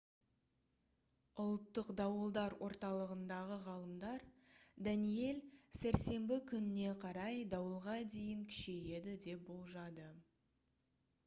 ұлттық дауылдар орталығындағы ғалымдар «даниэль» сәрсенбі күніне қарай дауылға дейін күшейеді деп болжады